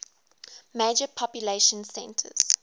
major population centers